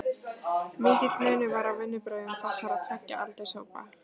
Mikill munur var á vinnubrögðum þessara tveggja aldurshópa.